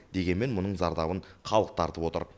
дегенмен мұның зардабын халық тартып отыр